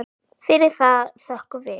Fyrir það þökkum við.